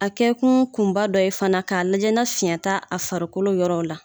A kɛ kun kunba dɔ ye fana, k'a lajɛna ni finyan t'a a farikolo yɔrɔw la